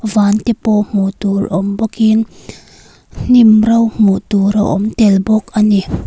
van te pawh hmuh tur awm bawkin hnim rawng hmuh tur a awm tel bawk ani.